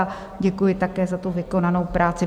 A děkuji také za tu vykonanou práci.